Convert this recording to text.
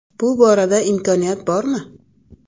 Bu borada imkoniyat bormi?